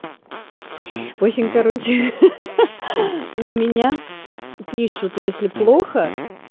в общем короче ха-ха на меня пишут если плохо